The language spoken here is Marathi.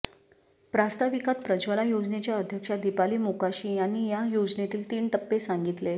प्रास्ताविकात प्रज्वला योजनेच्या अध्यक्षा दिपाली मोकाशी यांनी या योजनेतील तीन टप्पे सांगितले